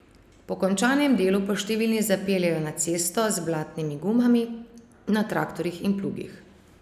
Po končanem delu pa številni zapeljejo na cesto z blatnimi gumami na traktorjih in plugih.